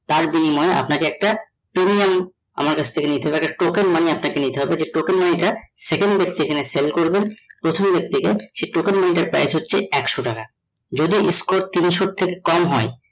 তার বিনিময়ে আপনাকে একটা premium আমার কাছ থেকে নিতে token money আপনাকে নিতে হবে যে token money টা second এ সেল করবেন প্রথমে এর থেকে সেই token money টার price হচ্ছে একশ টাকা যদি score তিনশো থেকে কম হয়ে